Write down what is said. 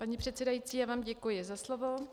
Paní předsedající, já vám děkuji za slovo.